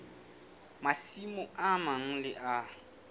masimo a mang le a